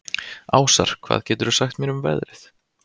Ásar, hvað geturðu sagt mér um veðrið?